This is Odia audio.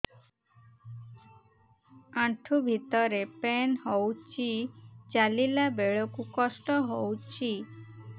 ଆଣ୍ଠୁ ଭିତରେ ପେନ୍ ହଉଚି ଚାଲିଲା ବେଳକୁ କଷ୍ଟ ହଉଚି